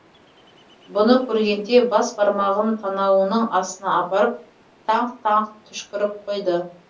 бұны көргенде бас бармағын танауының астына апарып таңқ таңқ түшкіріп қойды